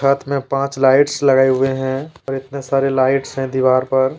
पथ में पांच लाइटस लगाए हुए हैं और इतने सारे लाइटस हैं दीवार पर--